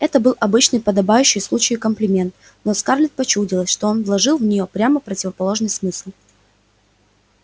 это был обычный подобающий случаю комплимент но скарлетт почудилось что он вложил в него прямо противоположный смысл